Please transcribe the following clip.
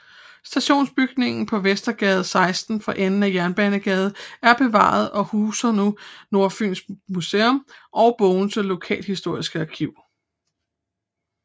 Stationsbygningen på Vestergade 16 for enden af Jernbanegade er bevaret og huser nu Nordfyns Museum og Bogense Lokalhistoriske Arkiv